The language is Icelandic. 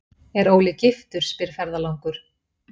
er Óli giftur, spyr ferðalangur.